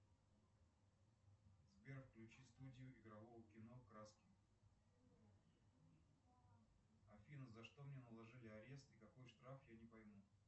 сбер включи студию игрового кино краски афина за что мне наложили арест и какой штраф я не пойму